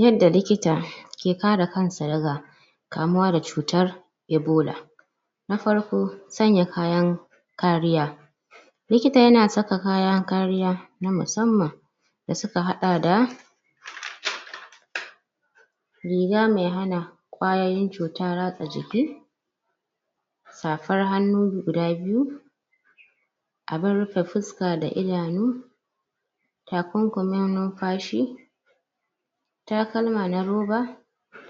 yanda likita ki kare kansa daga kamuwa da cutar Ebola na farko sanya kayan kariya likita na sanya kayan kariya na musamman dasuka haɗa da riga mai hana ƙwayoyin cuta ratsa jiki safar hanu guda biyu abun rufe fuska da idanu takunkumi nufashi takalma na ruba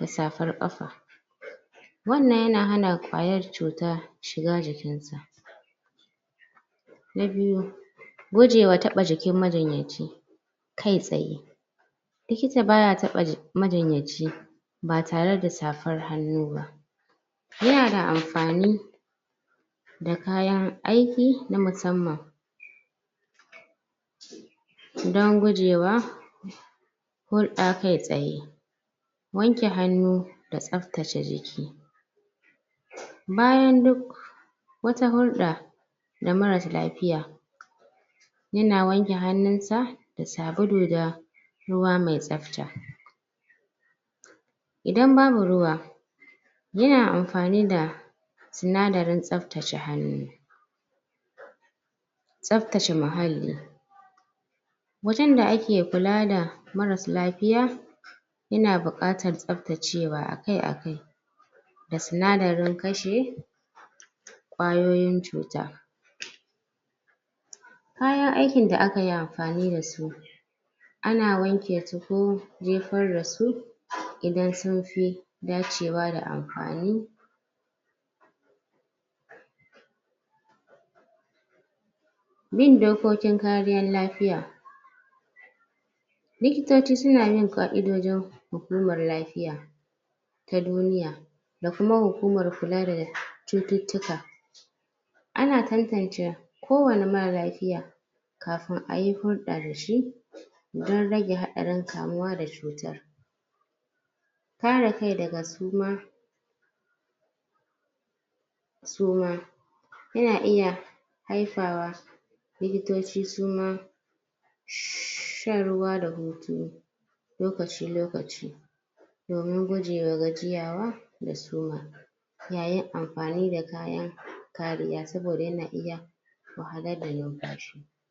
da safar ƙafa wannan yana hana ƙwayar cuta shiga jikin su na biyu gujewa taɓa jikin majinyaci kai tsaye likita baya taɓa jikin majinyaci batareda safar hanu ba yanada anfani dakayan aiki na musaman dan gujewa hudɗa kai tsaye wanke hanu da tsaftaci jiki bayan duk wata hudɓa da marasa lafiya yana wanke hanu sa da sabulu da ruwa mai tsafta idan babu ruwa yana hanfani da sinadarin tsaftaci hanu tsaftaci mahalli wajan da aki kula da marasa lafiya yana buƙatar tsaftaciwa akai-akai da sinadarin kashi ƙwayoyin cuta kayan aikin da akayi anfani dasu ana wankisu ko jefar dasu idan sunfi dachiwa da anfani bin dokokin kariyan lafiya likitochi suna bin ƙaidoji hukumar lafiya na duniya dakuma hukumar kula da chututtika ana tattance kowani mara lafiya kafin aye hudɗa dashi dan rage haɗarin kamuwa da chutar kare kai daga suma suma yana iya hayfawa likitoci suma shan ruwa da shutu lokaci lokaci domin gujewa gajiyawa da suma yayin anfani da kayan kariya saboda ana iya wahalar da nafashi